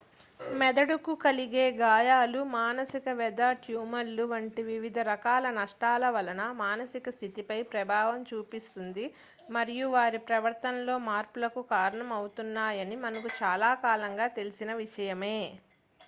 మెదడుకు కలిగే గాయాలు మానసిక వ్యధ ట్యూమర్లు వంటి వివిధ రకాల నష్టాల వలన మానసిక స్థితిపై ప్రభావం చూపిస్తుంది మరియు వారి ప్రవర్తనలో మార్పులకు కారణమవుతాయని మనకు చాలా కాలంగా తెలిసిన విషయమే